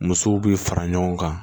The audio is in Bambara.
Musow bi fara ɲɔgɔn kan